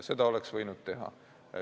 Seda oleks võinud teha.